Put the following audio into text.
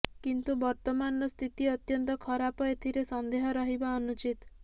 କିନ୍ତୁ ବର୍ତ୍ତମାନର ସ୍ଥିତି ଅତ୍ୟନ୍ତ ଖରାପ ଏଥିରେ ସନ୍ଦେହ ରହିବା ଅନୁଚିତ